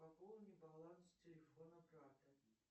пополни баланс телефона брата